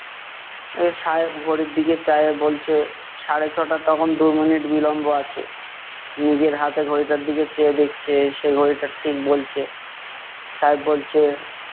এ সাহেব ঘড়ির দিকে চায়ে বলছে, সাড়ে ছ'টার তখন দু মিনিট বিলম্ব আছে। নিজের হাতের ঘড়িটার দিকে চেয়ে দেখচে, সে ঘড়িটা ঠিক বলচে। সাহেব বলচে,